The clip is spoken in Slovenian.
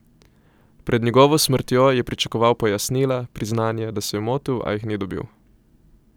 Pred njegovo smrtjo je pričakoval pojasnila, priznanje, da se je motil, a jih ni dobil.